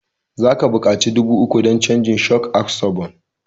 Za ka buƙaci dubu uku dan canja shok absoban